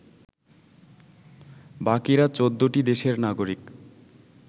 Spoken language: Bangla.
বাকিরা ১৪টি দেশের নাগরিক